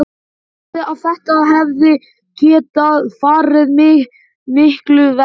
Hann sagði að þetta hefði getað farið miklu verr.